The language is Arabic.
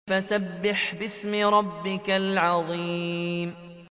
فَسَبِّحْ بِاسْمِ رَبِّكَ الْعَظِيمِ